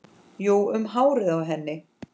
Jú, um hárið á henni!